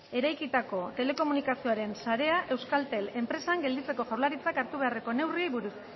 eraikitako telekomunikazioaren sarea euskaltel enpresan gelditzeko jaurlaritzak hartu beharreko neurriei buruz